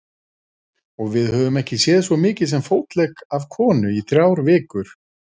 Og við höfum ekki séð svo mikið sem fótlegg af konu í þrjár vikur.